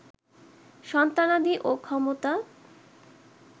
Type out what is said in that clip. সন্তানাদি ও ক্ষমতা